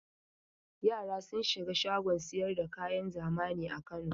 Yara sun shiga shagon sayar da kayan zamani a Kano.